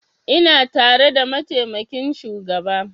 Ina tare da mataimakin shugaba